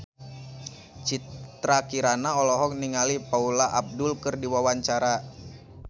Citra Kirana olohok ningali Paula Abdul keur diwawancara